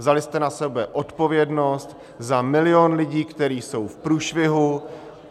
Vzali jste na sebe odpovědnost za milion lidí, kteří jsou v průšvihu.